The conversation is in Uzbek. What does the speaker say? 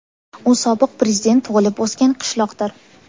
U sobiq prezident tug‘ilib-o‘sgan qishloqdir.